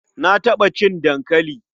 Na taɓa cin dankali.